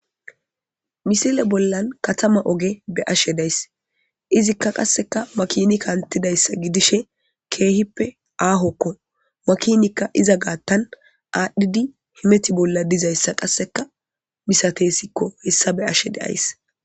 misile bollan katama oge be ashe days izikka qasseka makinikaantidayssa gidishe keehippe aahokko makinikka iza gaattan aadhdhidi himeti bolla dizayssa qasseka misatesikko hessa be ashe deays